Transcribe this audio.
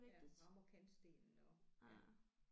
Ja rammer kantstenen og ja